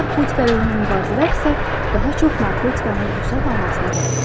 Narkotik əleyhinə mübarizələr isə daha çox narkotikanın vüsət almasına gətirib çıxarır.